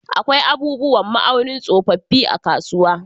Akwai abubuwan ma'aunin tsofaffi a kasuwa.